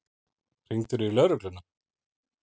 Hringdirðu í lögregluna?